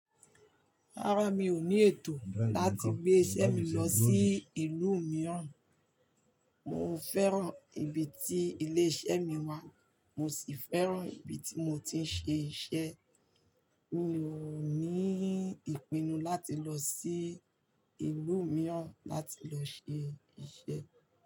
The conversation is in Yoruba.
Rárá, mi ò ní ètò láti gbé iṣẹ́ mi lọ sí ìlú mìíràn. Mo fẹ́ràn ibi tí ilé-iṣẹ́ mi wà, mo sì fẹ́ràn ibi tí mo ti ń ṣe iṣẹ́. Mi ò ní ìpinnu láti lọ sí ìlú mìíràn láti lọ ṣe iṣẹ́